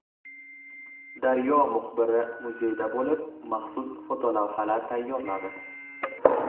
Daryo muxbiri muzeyda bo‘lib maxsus fotolavhalar tayyorladi.